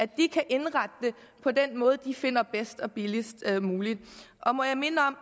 de kan indrette det på den måde de finder bedst og billigst muligt må jeg minde om